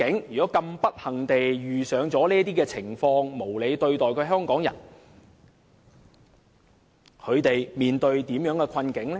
如果不幸遇到這些情況，被無理對待的香港人將會面對甚麼困境呢？